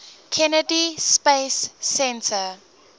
kennedy space center